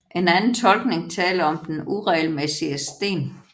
En anden tolkning taler om den uregelmæssige sten